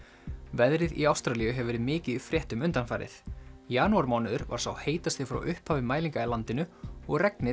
veðrið í Ástralíu hefur verið mikið í fréttum undanfarið janúarmánuður var sá heitasti frá upphafi mælinga í landinu og regnið